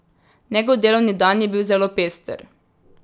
Njegov delovni dan je bil zelo pester.